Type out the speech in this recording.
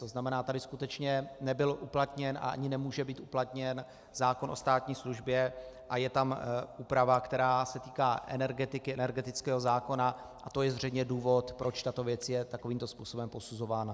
To znamená, tady skutečně nebyl uplatněn a ani nemůže být uplatněn zákon o státní službě a je tam úprava, která se týká energetiky, energetického zákona, a to je zřejmě důvod, proč tato věc je takovýmto způsobem posuzována.